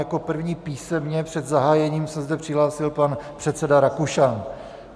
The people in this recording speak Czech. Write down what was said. Jako první písemně před zahájením se zde přihlásil pan předseda Rakušan.